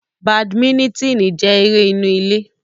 Badiminitini jẹ ere inu ile